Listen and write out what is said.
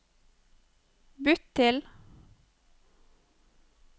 bytt til